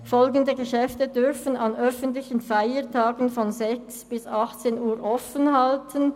Folgende Geschäfte dürfen an öffentlichen Feiertagen von 6 bis 18 Uhr offen halten: